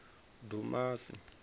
dumasi